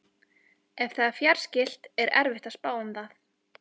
Ef það er fjarskylt er erfitt að spá um það.